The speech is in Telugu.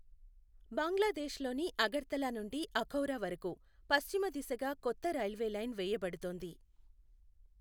బంగ్లాదేశ్లోని అగర్తలా నుండి అఖౌరా వరకు పశ్చిమ దిశగా కొత్త రైల్వే లైన్ వేయబడుతోంది.